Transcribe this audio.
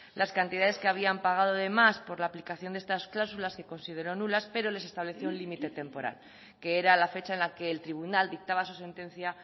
las cantidades que habían pagado de más por la aplicación de estas cláusulas que consideró nulas pero les estableció un límite temporal que era la fecha en la que el tribunal dictaba su sentencia